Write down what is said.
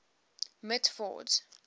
mitford's